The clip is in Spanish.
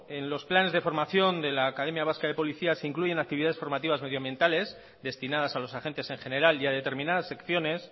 bueno en los planes de formación de la academia vasca de policía se incluye actividades formativas medioambientales destinadas a los agentes en general y a determinadas secciones